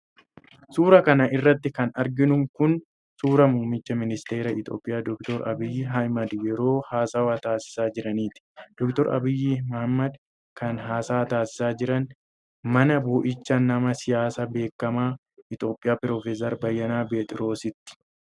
Suura kana irratti kan arginu kun ,suura muumicha ministeeraa Itoophiyaa ,Doctor Abiy Ahimad ,yeroo haasawa taasisaa jiraniiti. Doctor Abiy Ahimad kan haasawa taasisaa jiran, mana bo'ichaa nama siyaasaa beekamaa Itoophiyaa Profeesar Bayyana Pheexroositti.